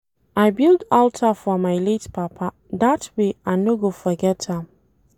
I build alter for my late papa dat way I no go forget am